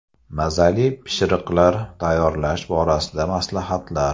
Mazali pishiriqlar tayyorlash borasida maslahatlar.